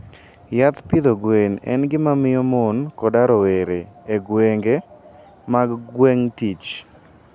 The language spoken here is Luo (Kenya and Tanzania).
Yath pidho gwen en gima miyo mon koda rowere e gwenge mag gweng' tich.